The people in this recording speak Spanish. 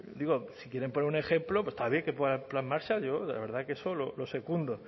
digo si quieren poner un ejemplo pues está bien que pongan el plan marshall yo la verdad es que eso lo secundo